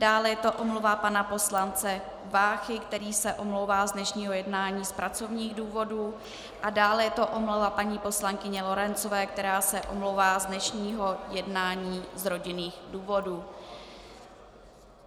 Dále je to omluva pana poslance Váchy, který se omlouvá z dnešního jednání z pracovních důvodů, a dále je to omluva paní poslankyně Lorencové, která se omlouvá z dnešního jednání z rodinných důvodů.